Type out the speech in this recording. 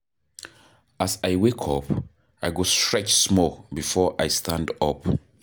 As I wake up, I go stretch small before I stand up.